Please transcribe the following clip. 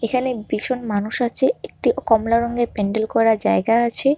এখানে ভীষণ মানুষ আছে একটি কমলা রঙের প্যান্ডেল করা জায়গা আছে।